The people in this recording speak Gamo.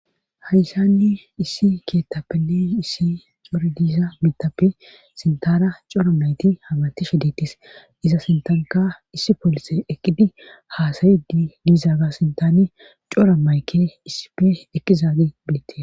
hayissani issi keettapenne issi cori diisa mitape sintara cora mayti hamati shedetis iza sintanika issi poolise ekkidi haasayi di diizaaga sintani cora mayke issife eqkizaagi bilette